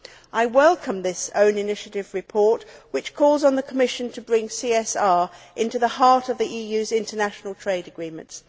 I welcome this own initiative report, which calls on the Commission to bring CSR into the heart of the EU's international trade agreements.